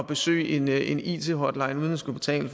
besøge en it hotline uden at skulle betale